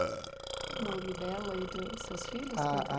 Qual o nome dela e dos seus filhos? Ah ah